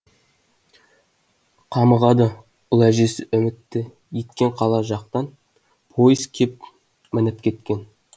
қамығады ұл әжесі үмітті еткен қала жақтан пойыз кеп мініп кеткен